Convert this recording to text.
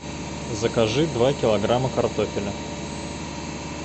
закажи два килограмма картофеля